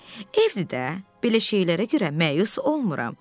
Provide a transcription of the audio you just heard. Evdir də, belə şeylərə görə məyus olmuram.